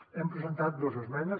hem presentat dos esmenes